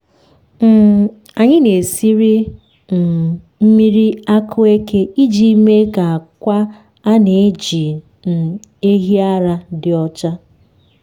um anyị na-esiri um mmiri akueke iji mee ka akwa a na-eji um ehi ara dị ọcha.